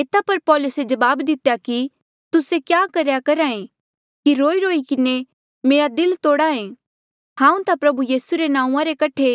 एता पर पौलुसे जवाब दितेया कि तुस्से क्या करेया करहा ऐें कि रोईरोई किन्हें मेरा दिल तोड़हा ऐें हांऊँ ता प्रभु यीसू रे नांऊँआं रे कठे